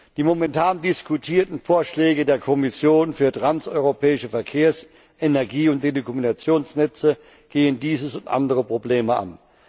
Die momentan diskutierten Vorschläge der Kommission für transeuropäische Verkehrs Energie und Telekommunikationsnetze gehen dieses und andere Probleme an.